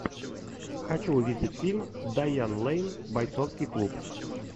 хочу увидеть фильм дайан лэйн бойцовский клуб